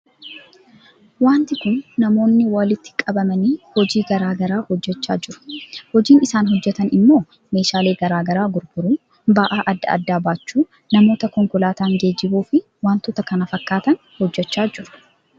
Waanti Kun namoonni walitti qabamanii hojii garaa garaa hojjechaa jiru. Hojii isaan hojjetan immoo meeshaale garaa garaa gurguruuu ba'aa adda addaa baachuu namoota konkolaataan geejibsiisuu fi waantota kan kana fakkatan hojjechaa jiru.